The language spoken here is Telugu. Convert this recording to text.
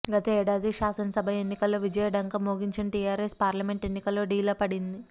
గత ఏడాది శాసనసభ ఎన్నికల్లో విజయ ఢంకా మోగించిన టీఆర్ఎస్ పార్లమెంటు ఎన్నికల్లో డీలా పడింది